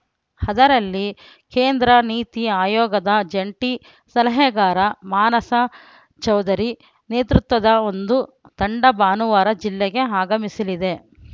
ಅದರಲ್ಲಿ ಕೇಂದ್ರ ನೀತಿ ಆಯೋಗದ ಜಂಟಿ ಸಲಹೆಗಾರ ಮಾನಸ್‌ ಚೌಧರಿ ನೇತೃತ್ವದ ಒಂದು ತಂಡ ಭಾನುವಾರ ಜಿಲ್ಲೆಗೆ ಆಗಮಿಸಲಿದೆ